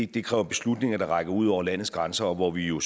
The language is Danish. det kræver beslutninger der rækker ud over landets grænser og hvor vi jo